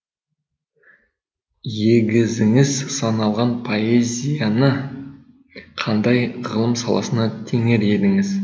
егізіңіз саналған поэзияны қандай ғылым саласына теңер едіңіз